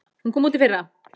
Hún kom út í fyrra.